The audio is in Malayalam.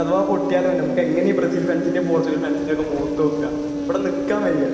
ഇനി അഥവാ പൊട്ടിയാലോ?? നമുക്കെങ്ങനെ ഈ ബ്രസീൽ ഫാൻസിന്റേം പോർച്ചുഗൽ ഫാന്സിന്റെയും ഒക്കെ മുഖത്തുനോക്കുക? ഇവിടെ നില്ക്കാൻ വയ്യ.